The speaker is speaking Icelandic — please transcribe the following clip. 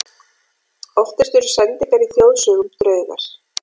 Oftast eru sendingar í þjóðsögum draugar.